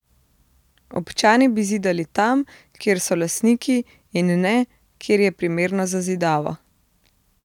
Občani bi zidali tam, kjer so lastniki, in ne, kjer je primerno za zidavo.